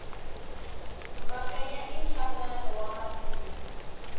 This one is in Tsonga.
mafenya i nhlangano wa misawu